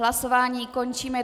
Hlasování končím.